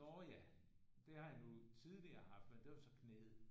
Nå ja det har jeg nu tidligere haft men det var så knæet